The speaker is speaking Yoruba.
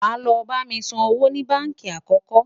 wá ló bá mí sàn owó ní bánkì àkókò